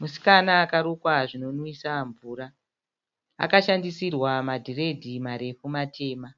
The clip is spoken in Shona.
Musikana akarukwa zvinonwisa mvura. Akashandisirwa madhiredhi marefu matema